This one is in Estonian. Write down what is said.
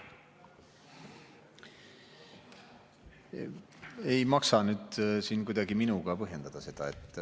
Ei maksa siin kuidagi minuga põhjendada seda.